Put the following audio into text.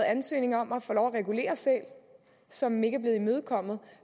ansøgning om at få lov til at regulere sæler som ikke er blevet imødekommet